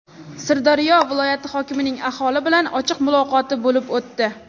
Sirdaryo viloyati hokimining aholi bilan ochiq muloqoti bo‘lib o‘tdi.